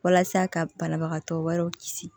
Walasa ka banabagatɔ wɛrɛw kisi